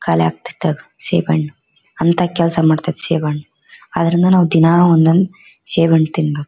ಖಾಲಿ ಆಗ್ತತ್ತೆ ಈಗ ಸೇಬ್ ಹಣ್ಣು ಅಂತ ಕೆಲಸ ಮಾಡ್ತತ್ತೆ ಸೇಬ್ ಹಣ್ಣು ಅದ್ರಿಂದ ನಾವ್ ದಿನ ಒಂದೊಂದ್ ಸೇಬ್ ಹಣ್ಣ್ ತಿನ್ಬೇಕು.